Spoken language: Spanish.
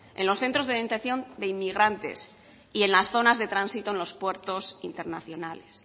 en los centros de detención de inmigrantes y en las zonas de tránsito en los puertos internacionales